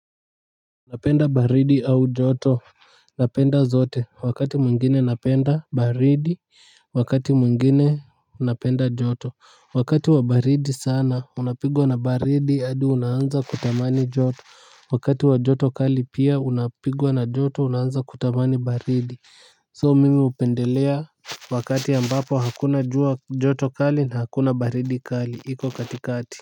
Napenda baridi au joto napenda zote wakati mwengine napenda baridi wakati mwengine napenda joto wakati wa baridi sana unapigwa na baridi hadi unaanza kutamani joto wakati wa joto kali pia unapigwa na joto unanza kutamani baridi So mimi hupendelea wakati ambapo hakuna jua joto kali na hakuna baridi kali iko katikati.